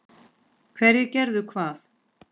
Hverjir gerðu hvað?